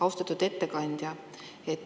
Austatud ettekandja!